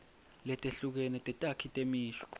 letehlukene tetakhi temisho